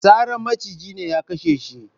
Sarar maciji ne ya kashe shi